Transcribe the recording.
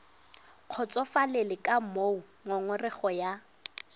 kgotsofalele ka moo ngongorego ya